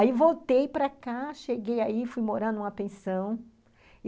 Aí voltei para cá, cheguei aí, fui morando numa pensão.